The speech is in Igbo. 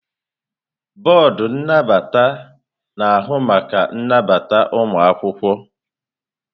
Bọọdụ nnabata na-ahụ maka nnabata ụmụ akwụkwọ.